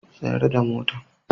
Tsayar da motan!